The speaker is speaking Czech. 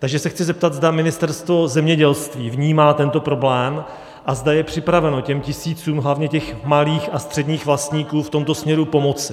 Takže se chci zeptat, zda Ministerstvo zemědělství vnímá tento problém a zda je připraveno těm tisícům hlavně těch malých a středních vlastníků v tomto směru pomoci.